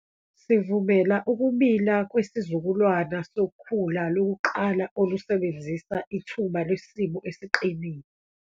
Sivumela ukumila kwesizukulwana sokhula lokuqala olusebenzisa ithuba lwesimo esiqinile.